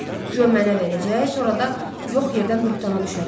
Guya mənə verəcək, sonra da yox yerdən böhtana düşərəm.